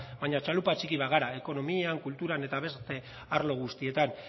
baino txalupa txiki bat gara ekonomian kulturan eta beste arlo guztietan